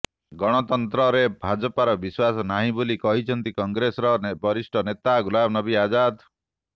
ଗଣତନ୍ତ୍ରରେ ଭାଜପାର ବିଶ୍ୱାସ ନାହିଁ ବୋଲି କହିଛନ୍ତି କଂଗ୍ରେସର ବରିଷ୍ଠ ନେତା ଗୁଲାମନବୀ ଆଜାଦ